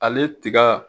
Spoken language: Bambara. Ale tiga